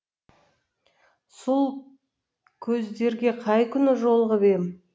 сол көздерге қай күні жолығып ем